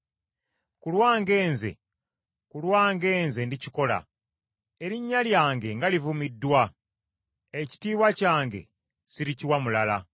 Ku lwange nze, ku lwange nze ndikikola. Erinnya lyange nga livumiddwa. Ekitiibwa kyange sirikiwa mulala.